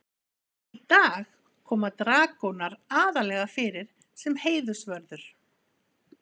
í dag koma dragónar aðallega fyrir sem heiðursvörður